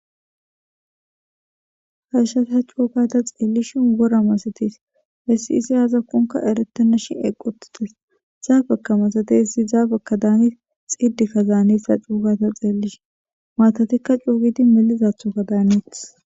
Hashshasa cuugata xeellishi wora masates hessiisi aazakkonka erettana shin eqotites zaabeka masatessi zaabekka daani xiddikka zaanessa cuugata xeellishi maatatikka cuugidi melizaaththoka daannites.